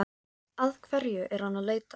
Að hverju er hann að leita?